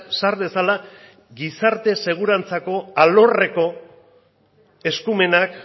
sar dezala gizarte segurantzako alorreko eskumenak